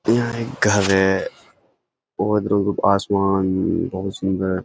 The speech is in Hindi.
यहाँ एक घर है और आसमान बहुत सुंदर है।